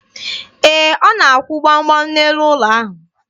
Ee, ọ na-akwụ gbam gbam n'elu ụlọ ahụ.